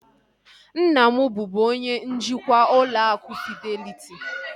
Nna m bubu onye njikwa ụlọ akụ fideliti